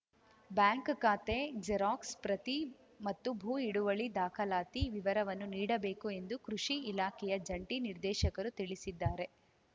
bank ಖಾತೆ xerox ಪ್ರತಿ ಮತ್ತು ಭೂ ಹಿಡುವಳಿ ದಾಖಲಾತಿ ವಿವರವನ್ನು ನೀಡಬೇಕು ಎಂದು ಕೃಷಿ ಇಲಾಖೆಯ ಜಂಟಿ ನಿರ್ದೇಶಕರು ತಿಳಿಸಿದ್ದಾರೆ